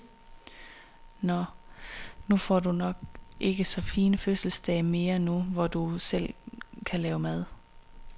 Nåh, nu får du nok ikke så fine fødselsdage mere, nu hvor du selv kan lave mad.